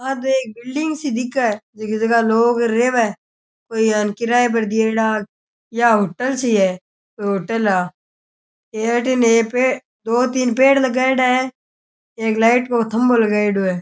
आ तो एक बिल्डिंग सी दिखे जीकी जगह लोग रहवे कोई अन किराए पर दियेडा या होटल सी है होटल है आ ये अठी नै पेड़ दो तीन पेड़ लगाएडो है एक लाइट गो थंबो लगाएडो है।